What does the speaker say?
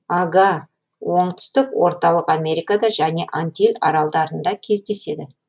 ага оңтүстік орталық америкада және антиль аралдарында кездеседі